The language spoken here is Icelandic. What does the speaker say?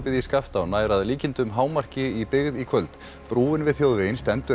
í Skaftá nær að líkindum hámarki í byggð í kvöld brúin við þjóðveginn stendur enn